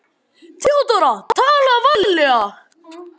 THEODÓRA: Talaðu varlega.